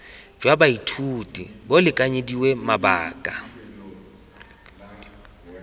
jwa baithuti bo lekanyediwe mabaka